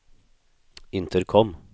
intercom